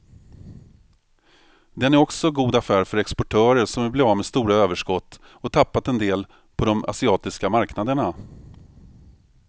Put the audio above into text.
Den är också god affär för exportörer som vill bli av med stora överskott och tappat en del på de asiatiska marknaderna.